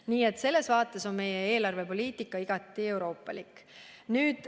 Nii et selles vaates on meie eelarvepoliitika igati euroopalik.